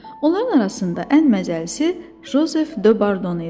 Onların arasında ən məzəlisi Jozef Dö Bardon idi.